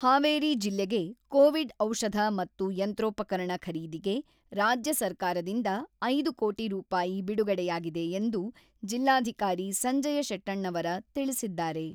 ಹಾವೇರಿ ಜಿಲ್ಲೆಗೆ ಕೋವಿಡ್ ಔಷಧ ಮತ್ತು ಯಂತ್ರೋಪಕರಣ ಖರೀದಿಗೆ ರಾಜ್ಯ ಸರ್ಕಾರದಿಂದ ಐದು ಕೋಟಿ ರೂಪಾಯಿ ಬಿಡುಗಡೆಯಾಗಿದೆ ಎಂದು ಜಿಲ್ಲಾಧಿಕಾರಿ ಸಂಜಯ ಶೆಟ್ಟೆಣ್ಣವರ ತಿಳಿಸಿದ್ದಾರೆ.